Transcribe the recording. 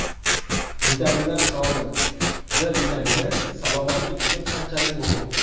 Vitaminlar qiroli: D vitamini salomatlik uchun qanchalik muhim?.